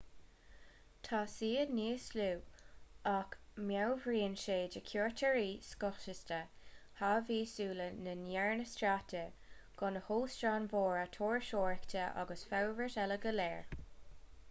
tá siad níos lú ach meabhraíonn sé do chuairteoirí scothaosta haváí sula ndearnadh stát de gan na hóstáin mhóra turasóireachta agus an fhorbairt eile go léir